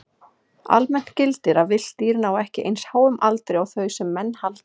Almennt gildir að villt dýr ná ekki eins háum aldri og þau sem menn halda.